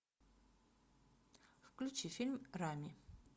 включи фильм рами